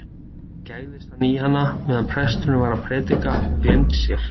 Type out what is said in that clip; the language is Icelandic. Svo gægðist hann í hana meðan presturinn var að prédika og gleymdi sér.